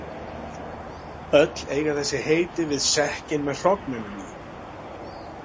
Öll eiga þessi heiti við sekkinn með hrognunum í.